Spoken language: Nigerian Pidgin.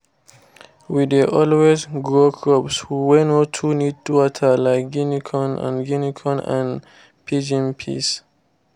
we dey always grow crops wey no too need water like guinea corn and guinea corn and pigeon peas